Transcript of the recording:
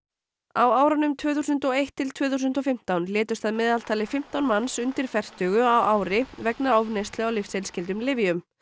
á árunum tvö þúsund og eitt til tvö þúsund og fimmtán létust að meðaltali fimmtán manns undir fertugu á ári vegna ofneyslu á lyfseðilsskyldum lyfjum